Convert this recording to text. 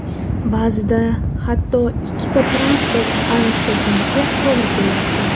Ba’zida hatto ikkita transport almashtirishimizga to‘g‘ri kelyapti.